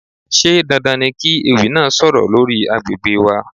Ṣé dandan ni kí ewì náà sọ̀rọ̀ lórí àgbègbè wa?